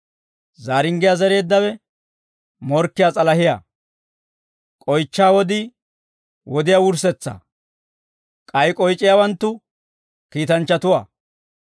Zaaringgiyaa zereeddawe morkkiyaa s'alahiyaa; k'oychchaa wodii, wodiyaa wurssetsaa; k'ay k'oyc'iyaawanttu kiitanchchatuwaa.